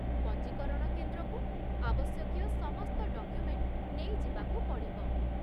ପଞ୍ଜୀକରଣ କେନ୍ଦ୍ରକୁ ଆବଶ୍ୟକୀୟ ସମସ୍ତ ଡକ୍ୟୁମେଣ୍ଟ ନେଇ ଯିବାକୁ ପଡ଼ିବ